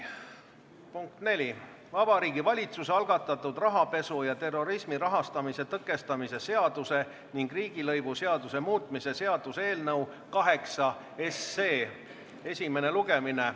Punkt neli: Vabariigi Valitsuse algatatud rahapesu ja terrorismi rahastamise tõkestamise seaduse ning riigilõivuseaduse muutmise seaduse eelnõu 8 esimene lugemine.